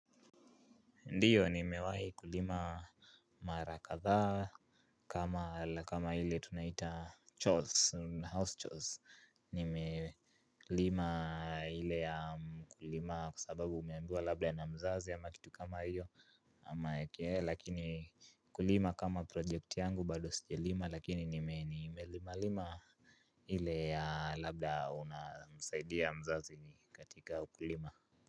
Ndiyo, nimewahi kulima mara kadhaa kama ile tunaita charson houston nimelima ile ya kulima kwa sababu umeambiwa labda na mzazi ama kitu kama hiyo ama eeh lakini kulima kama project yangu bado sijalima lakini nimelimalima ile ya labda unasaidia mzazi katika ukulima.